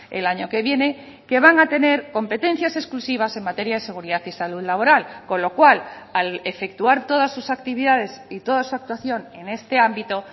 el año que viene que van a tener competencias exclusivas en materia de seguridad y salud laboral con lo cual al efectuar todas sus actividades y toda su actuación en este ámbito